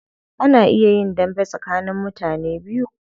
Ana iya yin dambe tsakanin mutane biyu.